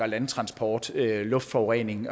landtransport luftforurening